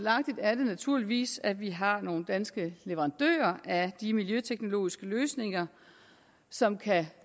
er det naturligvis at vi har nogle danske leverandører af de miljøteknologiske løsninger som